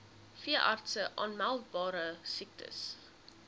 veeartse aanmeldbare siektes